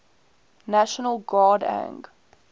national guard ang